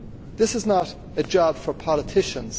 This is not a job for politicians.